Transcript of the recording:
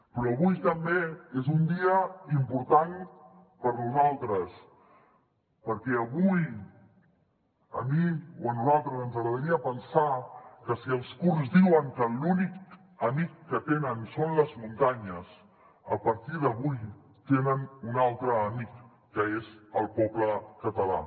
però avui també és un dia important per nosaltres perquè avui a mi o a nosaltres ens agradaria pensar que si els kurds diuen que l’únic amic que tenen són les muntanyes a partir d’avui tenen un altre amic que és el poble català